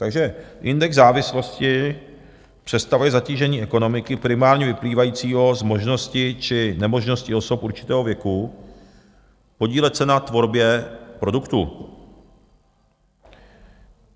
Takže index závislosti představuje zatížení ekonomiky primárně vyplývajícího z možnosti či nemožnosti osob určitého věku podílet se na tvorbě produktu.